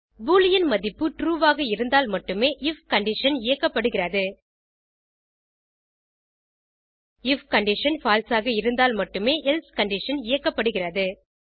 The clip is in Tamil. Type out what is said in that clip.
பூலியன் மதிப்பு ட்ரூ ஆக இருந்தால் மட்டுமே ஐஎஃப் கண்டிஷன் இயக்கப்படுகிறது ஐஎஃப் கண்டிஷன் பால்சே ஆக இருந்தால் மட்டுமே எல்சே கண்டிஷன் இயக்கப்படுகிறது